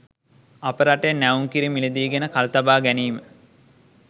අපේ රටේ නැවුම් කිරි මිලදී ගෙන කල් තබා ගැනීම